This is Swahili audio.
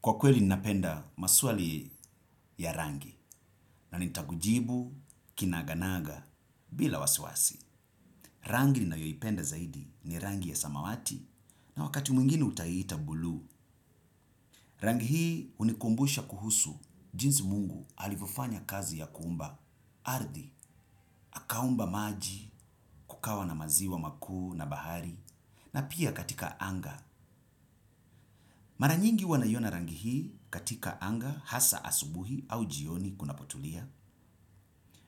Kwa kweli ninapenda maswali ya rangi, na nitakujibu, kinaganaga, bila wasiwasi. Rangi ninayoipenda zaidi ni rangi ya samawati, na wakati mwingini utaiita buluu. Rangi hii hunikumbusha kuhusu, jinsi mungu alivyofanya kazi ya kuumba. Ardhi, akaumba maji kukawa na maziwa makuu na bahari, na pia katika anga. Mara nyingi huwa naiona rangi hii katika anga hasa asubuhi au jioni kuna potulia.